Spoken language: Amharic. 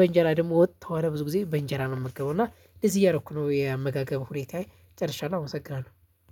በእንጀራ ደግሞ ወጥ ከሆነ ብዙ ጊዜ በእንጀራ ነው የምመገበው እና እንደዚህ እያደረኩ ነው ያመጋገብ ሁኔታዬ ጨርሻለሁ አመሰግናለሁ!